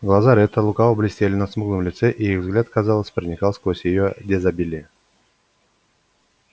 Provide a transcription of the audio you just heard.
глаза ретта лукаво блестели на смуглом лице и их взгляд казалось проникал сквозь её дезабилье